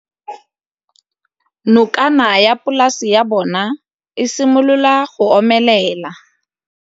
Nokana ya polase ya bona, e simolola go omelela.